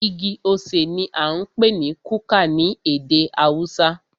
Igi osè ní a ń pé ní kuka ní ède haúsá.